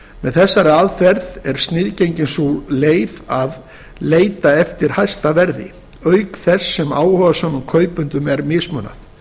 með þessari aðferð er sniðgengin sú leið að leita eftir hæsta verði auk þess sem áhugasömum kaupendum er mismunað